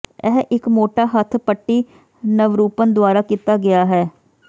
ਇਹ ਇੱਕ ਮੋਟਾ ਹੱਥ ਪੱਟੀ ਨਵਰੂਪਨ ਦੁਆਰਾ ਕੀਤਾ ਗਿਆ ਹੈ